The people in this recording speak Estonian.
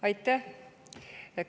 Aitäh!